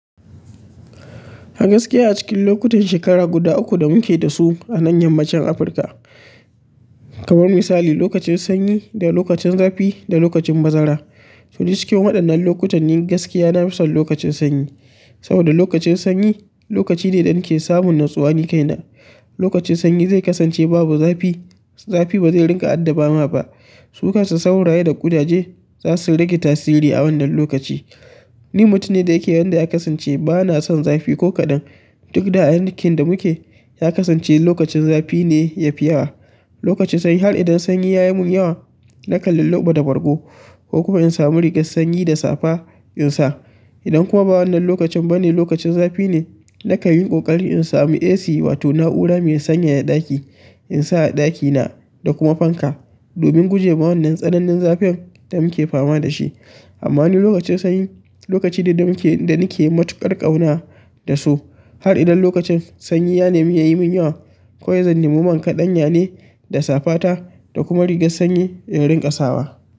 A gaskiya a cikin lokutan shekara guda uku da muke da su a nan yammacin Afirka, kamar misali lokacin sanyi da lokacin zafi da lokacin bazara. To duk cikin waɗannan lokutan, ni gaskiya na fi son lokacin sanyi. Saboda lokacin sanyi lokaci ne da nake samun natsuwa ni kaina. Lokacin sanyi zai kasance babu zafi, zafi ba zai ringa adda ba ma ba. Su kansu sauraye da ƙudaje za su rage tasiri a wannan lokaci. Ni mutum ne da yake yadda ya kasance ba na son zafi ko kaɗan. Duk da a yankin da muke ya kasance lokacin zafi ne yafi yawa. Lokacin sanyi har idan sanyi yayi min yawa nakan lilluba da bargo kokuma in samu rigan sanyi da safa in sa idan kuma ba wannan lokacin bane lokacin zafi ne, na kan yi ƙoƙari in sami AC wato na'ura mai sanyaya ɗaki in sa a ɗakina da kuma fanka. Domin guje ma wannan tsananin zafin da muke fama da shi. Amma ni lokacin sanyi lokaci ne da muke, da nake matuƙar ƙauna da su. Har idan lokacin sanyi ya nemi ya mun, ya yi mun yawa, kawai zan nemi man kaɗanya ne da safa ta da kuma rigar sanyi in ringa sawa.